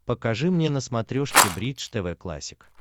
покажи мне на смотрешке бридж тв классик